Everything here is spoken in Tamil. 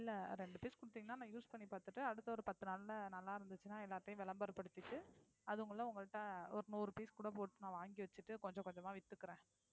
இல்லை ரெண்டு piece குடுத்தீங்கன்னா நான் use பண்ணி பார்த்துட்டு அடுத்த ஒரு பத்து நாள்ல நல்லா இருந்துச்சுன்னா எல்லாத்தையும் விளம்பரப்படுத்திட்டு அது உங்களை உங்கள்ட்ட ஒரு நூறு piece கூட போட்டு நான் வாங்கி வச்சுட்டு கொஞ்சம் கொஞ்சமா வித்துக்குறேன்